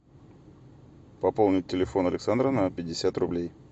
пополнить телефон александра на пятьдесят рублей